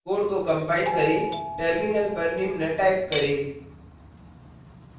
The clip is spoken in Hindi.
code को कंपाइल करें terminal पर निम्न type करें